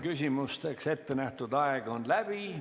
Küsimusteks ettenähtud aeg on läbi.